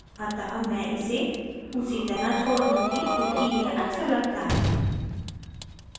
अतः मैं इसे उसी तरह छोड़ दूंगी क्योंकि यह अच्छा लगता है